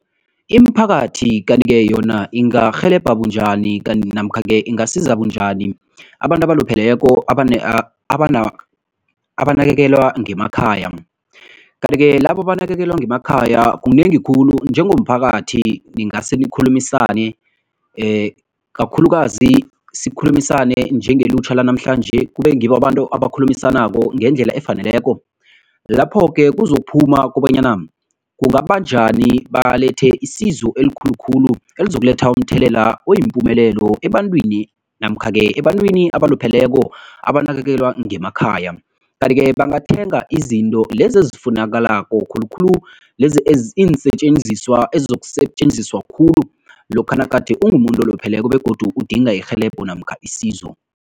Imiphakathi kanti-ke yona ingarhelebha bunjani kanti namkha-ke ingasiza bunjani abantu abalupheleko abanakekelwa ngemakhaya? Kanti-ke labo abanakekelwa ngemakhaya kunengi khulu, njengomphakathi ngingase nikhulumisane kakhulukazi sikhulumisane njengelutjha lanamhlanje, kube ngibo abantu abakhulumisanako ngendlela efaneleko lapho-ke kuzokuphuma kobanyana kungaba njani balethe isizo elikhulu khulu elizokuletha umthelela oyimpumelelo ebantwini namkha-ke ebantwini abalupheleko abanakekelwa ngemakhay. Kanti-ke bangathenga izinto lezi ezifunakalako, khulukhulu lezi ziinsetjenziswa ezizokusetjenziswa khulu lokha nagade ungumuntu olupheleko begodu udinga irhelebho namkha isizo.